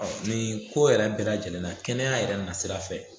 nin ko yɛrɛ bɛɛ lajɛlen na kɛnɛya yɛrɛ na sira fɛ